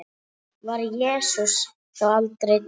Var Jesús þá aldrei til?